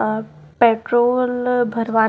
अह petrol भरवा--